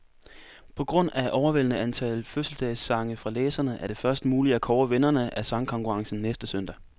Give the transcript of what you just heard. På grund af overvældende antal fødselsdagssange fra læserne, er det først muligt at kåre vinderne af sangkonkurrencen næste søndag.